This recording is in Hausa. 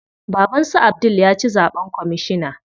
Baban su Abdul ya ci zaɓen kwamishina.